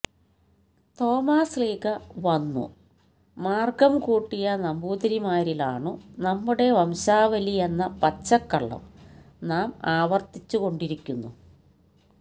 തോമാശ്ലീഹാ വന്നു മാര്ഗ്ഗം കൂട്ടിയ നമ്പൂതിരിമാരിലാണു നമ്മുടെ വംശാവലിയെന്ന പച്ചക്കള്ളം നാം ആവര്ത്തിച്ചുകൊണ്ടിരിക്കുന്നു